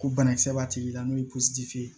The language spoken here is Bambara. Ko banakisɛ b'a tigi la n'o ye ye